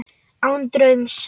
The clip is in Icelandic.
Án draums.